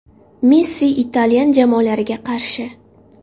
Messi italyan jamoalariga qarshi.